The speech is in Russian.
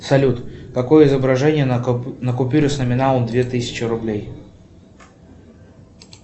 салют какое изображение на купюре с номиналом две тысячи рублей